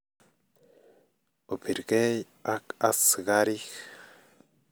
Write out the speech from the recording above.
opirkei ak askarik